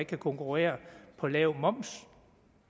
kan konkurrere på lav moms